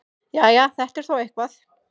Jæja, þetta er þó eitthvað.